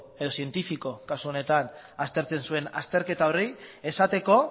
edo zientifiko kasu honetan aztertzen zuen azterketa horri esateko